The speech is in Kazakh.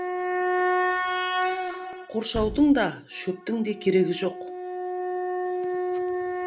қоршаудың да шөптің де керегі жоқ